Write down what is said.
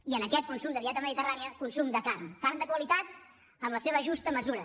i en aquest consum de dieta mediterrània consum de carn carn de qualitat en la seva justa mesura